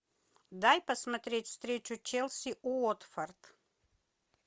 дай посмотреть встречу челси уотфорд